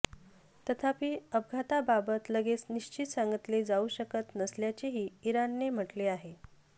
तथापि अपघाताबाबत लगेच निश्चित सांगितले जाऊ शकत नसल्याचेही इराणने म्हटले आहे